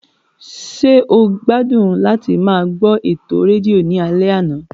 Ṣé o gbádùn láti máa gbọ́ ètò rédíò ní alẹ́ àná?